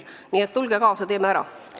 Nii et tulge kaasa, teeme ära!